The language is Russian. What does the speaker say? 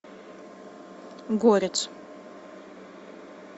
горец